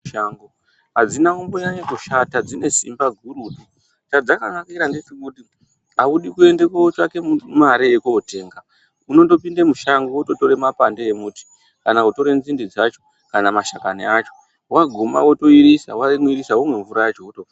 Mitombo dzemushango hadzina kumboshata dzine simba gurutu. Chadzakanakira ndechekuti audi kuendekootsvake mare yekootenga. Unotopinde mushango eototora mapande emuti kana nzinde dzacho kana mashakani acho. Waguma wotoirisa, womwa wotopona.